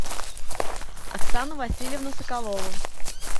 оксану васильевну соколову